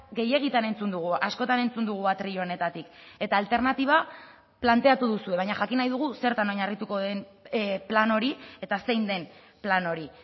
gehiegitan entzun dugu askotan entzun dugu atril honetatik eta alternatiba planteatu duzue baina jakin nahi dugu zertan oinarrituko den plan hori eta zein den plan hori